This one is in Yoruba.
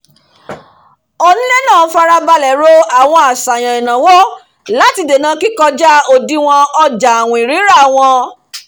onílé náà farabalẹ̀ ro àwọn àṣàyàn ìnáwó láti dènà kí kọjá òdiwọ̀n ọjà àwìn rírà wọn